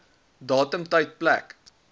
datum tyd plek